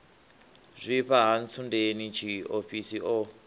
zwifha ha ntsundeni tshiofhiso o